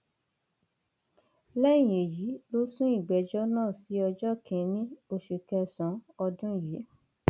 lẹyìn èyí ló sún ìgbẹjọ náà sí ọjọ kìnínní oṣù kẹsànán ọdún yìí